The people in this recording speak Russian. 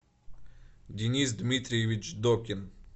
денис дмитриевич докин